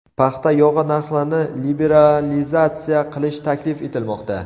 Paxta yog‘i narxlarini liberalizatsiya qilish taklif etilmoqda.